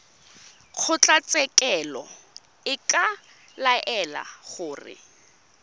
kgotlatshekelo e ka laela gore